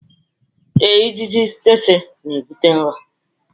ee, ijiji tsetse n'ebute ụra.